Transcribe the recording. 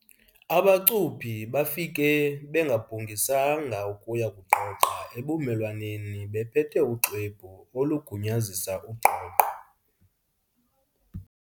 Abacuphi bafike bengabhungisanga ukuya kugqogqa ebumelwaneni bephethe uxwebhu olugunyazisa ugqogqo.